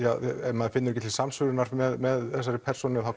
maður finnur ekki til samsvörunar með þessari persónu þá